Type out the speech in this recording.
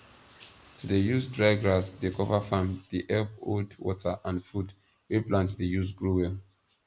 to dey use dry grass dey cover farm dey help hold water and food wey plant dey use grow well